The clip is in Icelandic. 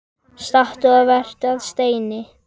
Stattu og vertu að steini